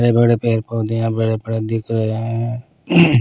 बड़े बड़े पैर पौधे यहाँ बड़े-बड़े दिख रहे हैं ।